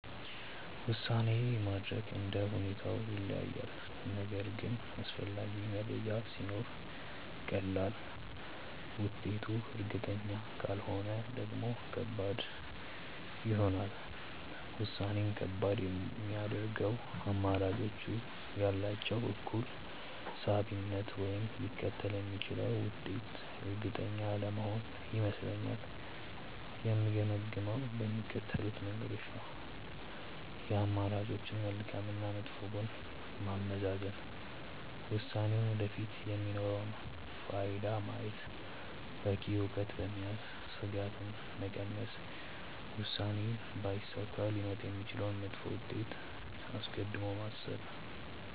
ውሳኔ ማድረግ እንደ ሁኔታው ይለያያል፤ ነገር ግን አስፈላጊ መረጃ ሲኖር ቀላል፣ ውጤቱ እርግጠኛ ካልሆነ ደግሞ ከባድ ይሆናል። ውሳኔን ከባድ የሚያደርገው አማራጮቹ ያላቸው እኩል ሳቢነት ወይም ሊከተል የሚችለው ውጤት እርግጠኛ አለመሆን ይመስለኛል። የምገመግመው በሚከተሉት መንገዶች ነው፦ የአማራጮችን መልካም እና መጥፎ ጎን ማመዛዘን፣ ውሳኔው ወደፊት የሚኖረውን ፋይዳ ማየት፣ በቂ እውቀት በመያዝ ስጋትን መቀነስ፣ ውሳኔው ባይሳካ ሊመጣ የሚችለውን መጥፎ ውጤት አስቀድሞ ማሰብ።